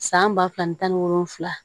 San ba fila ani tan ni wolonfila